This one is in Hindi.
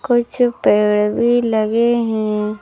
कुछ पेड़ भी लगे है।